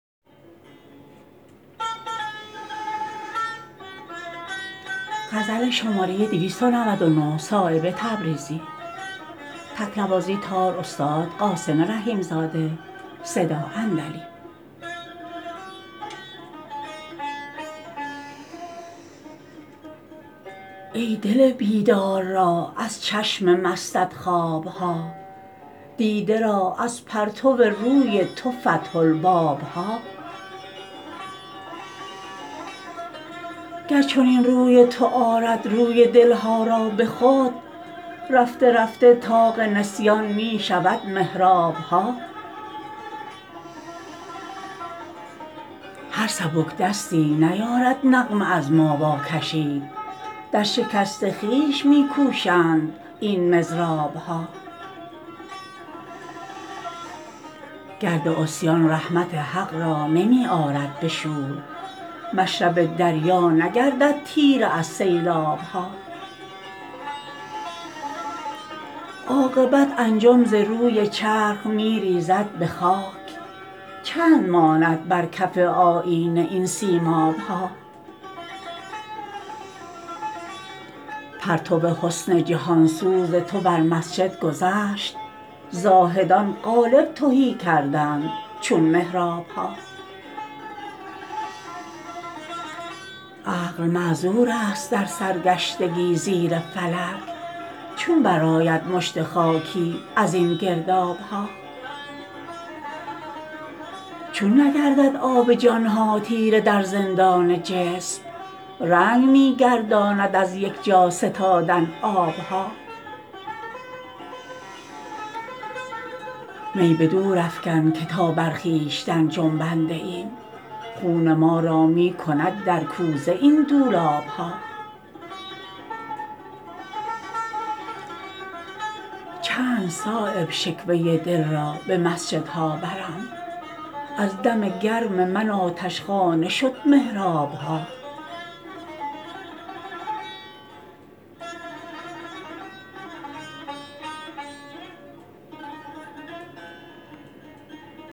ای دل بیدار را از چشم مستت خواب ها دیده را از پرتو روی تو فتح الباب ها گر چنین روی تو آرد روی دل ها را به خود رفته رفته طاق نسیان می شود محراب ها هر سبک دستی نیارد نغمه از ما واکشید در شکست خویش می کوشند این مضراب ها گرد عصیان رحمت حق را نمی آرد به شور مشرب دریا نگردد تیره از سیلاب ها عاقبت انجم ز روی چرخ می ریزد به خاک چند ماند بر کف آیینه این سیماب ها پرتو حسن جهانسوز تو بر مسجد گذشت زاهدان قالب تهی کردند چون محراب ها عقل معذورست در سرگشتگی زیر فلک چون برآید مشت خاشاکی ازین گرداب ها چون نگردد آب جان ها تیره در زندان جسم رنگ می گرداند از یک جا ستادن آب ها می به دور افکن که تا بر خویشتن جنبیده ایم خون ما را می کند در کوزه این دولاب ها چند صایب شکوه دل را به مسجدها برم از دم گرم من آتشخانه شد محراب ها